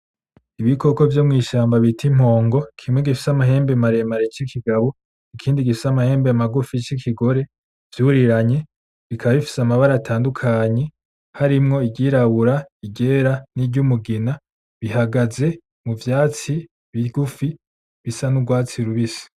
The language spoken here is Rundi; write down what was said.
ibikoko vyo mw'ishamba bita impongo, kimwe gifise amahembe maremare c'ikigabo ikindi gifise amahembe magufi c'ikigore vyuriranye, bikaba bifise amabara atadukanye harimwo iry'irabura iryera niry'umugina bihagaze mu vyatsi bigufi bisa n’urwatsi rubisi.